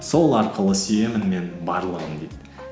сол арқылы сүйемін мен барлығын дейді